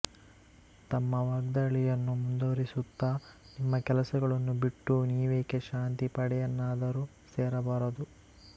ತಮ್ಮ ವಾಗ್ದಾಳಿಯನ್ನು ಮುಂದುವರಿಸುತ್ತಾ ನಿಮ್ಮ ಕೆಲಸಗಳನ್ನು ಬಿಟ್ಟು ನೀವೇಕೆ ಶಾಂತಿ ಪಡೆಯನ್ನಾದರೂ ಸೇರಬಾರದು